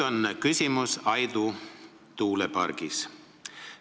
Küsimus on Aidu tuulepargis.